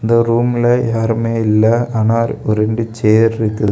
இந்த ரூம்ல யாருமே இல்ல ஆனால் ஒரு ரெண்டு சேர் இருக்ககு--